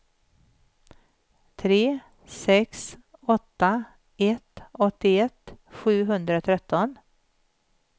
tre sex åtta ett åttioett sjuhundratretton